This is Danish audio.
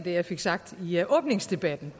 jeg fik sagt i åbningsdebatten